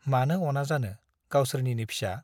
मानो अना जानो , गावसोरनिनो फिसा ।